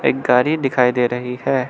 एक गाड़ी दिखाई दे रही है।